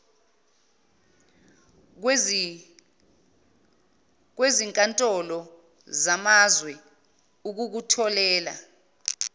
kwezinkntolo zamazwe ukukutholela